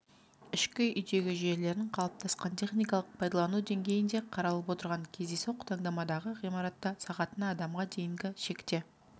ішкі үйдегі жүйелерін қалыптасқан техникалық пайдалану деңгейінде қаралып отырған кездейсоқ таңдамадағы ғимаратта сағатына адамға дейінгі шекте